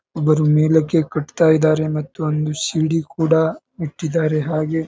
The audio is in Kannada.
ಒಬ್ಬರು ಮೇಲಕ್ಕೆ ಕಟ್ಟುತ್ತಾ ಇದ್ದಾರೆ ಮತ್ತು ಒಂದು ಸಿ.ಡಿ. ಕೂಡ ಇಟ್ಟಿದ್ದಾರೆ ಹಾಗೆ.